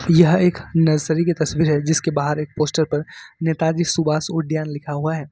यह एक नर्सरी की तस्वीर है जिसके बाहर एक पोस्टर पर नेताजी सुभाष उद्यान लिखा हुआ है।